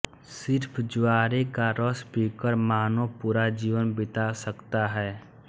सिर्फ ज्वारे का रस पीकर मानव पूरा जीवन बिता सकता है